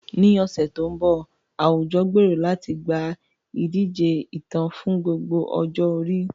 Ní ọ̀sẹ̀ tó ń bọ̀, àwùjọ gbèrò láti gba ìdíje ìtàn fún gbogbo ọjọ́ orí.